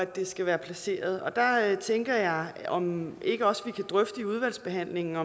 det skal være placeret og der tænker jeg om ikke også vi kan drøfte i udvalgsbehandlingen